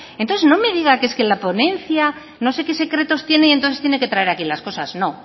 entonces no me diga que es que la ponencia no sé qué secretos tiene y entonces tiene que traer aquí las cosas no